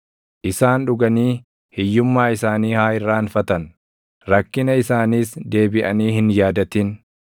isaan dhuganii hiyyummaa isaanii haa irraanfatan; rakkina isaaniis deebiʼanii hin yaadatin.